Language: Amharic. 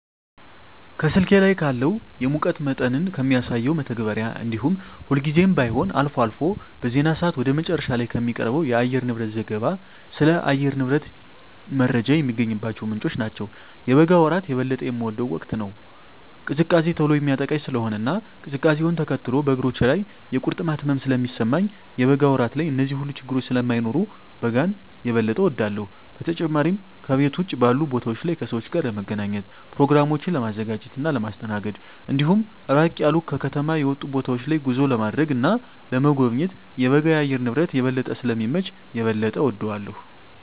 ከስልኬ ላይ ካለው የሙቀት መጠንን ከሚያሳሰው መተግበሪያ እንዲሁም ሁልጊዜም ባይሆን አልፎ አልፎ በዜና ሰአት ወደ መጨረሻ ላይ ከሚቀርበው የአየርንብረት ዘገባ ስለ አየር ንብረት ጀመረ የሚገኝባቸው ምንጮች ናቸው። የበጋ ወራት የበለጠ የምወደው ወቅት ነው። ቅዝቃዜ ቶሎ የሚያጠቃኝ ስለሆነ እና ቅዝቃዜውነ ተከትሎ በእግሮቼ ላይ የቁርጥማት ህመም ስለሚሰማኝ የበጋ ወራት ላይ እነዚህ ሁሉ ችግረኞች ስለማይኖሩ በጋን የበጠ እወዳለሁ። በተጨማሪም ከቤት ውጭ ባሉ ቦታወች ላይ ከሰወች ጋር ለመገናኘት፣ በኘሮግራሞችን ለማዘጋጀት እና ለማስተናገድ እንዲሁም ራቅ ያሉ ከከተማ የወጡ ቦታወች ላይ ጉዞ ለማድረግ እና ለመጎብኘት የበጋ የአየር ንብረት የበለጠ ስለሚመች የበለጠ እወደዋለሁ።